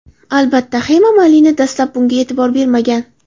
Albatta, Hema Malini dastlab bunga e’tibor bermagan.